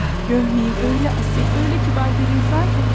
Ah, görməyin, elə asil, elə kibar bir insan ki.